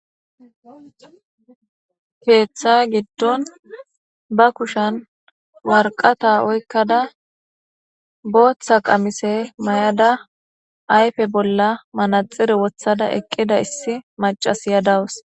Keetha gidon ba kushen waraqata oykada, ba ayfe bolla manaxire wothada, bootha mayida Issi naya daws.